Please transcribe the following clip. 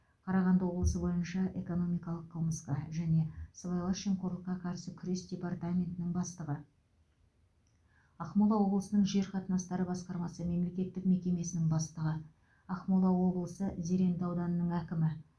қарағанды облысы бойынша экономикалық қылмысқа және сыбайлас жемқорлыққа қарсы күрес департаментінің бастығы ақмола облысының жер қатынастары басқармасы мемлекеттік мекемесінің бастығы ақмола облысы зеренді ауданының әкімі